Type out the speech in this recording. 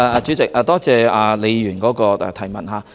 主席，多謝李議員的補充質詢。